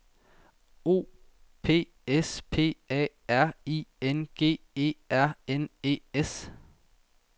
O P S P A R I N G E R N E S